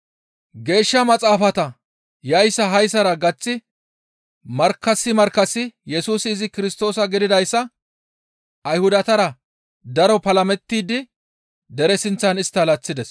Geeshsha Maxaafata yayssa hayssara gaththi markkasi markkasi Yesusi izi Kirstoosa gididayssa Ayhudatara daro palamettidi dere sinththan istta laththides.